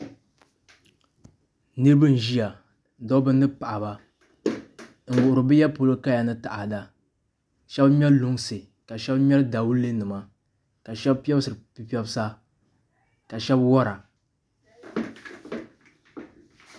Niraba n ʒiya dabba ni paɣaba n wuhuri bi ya polo kaya ni taada shab ŋmɛri lunsi ka shab ŋmɛri dawulɛ nima ka shab piɛbsiri pipiɛbsa ka shab wora